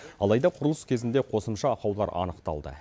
алайда құрылыс кезінде қосымша ақаулар анықталды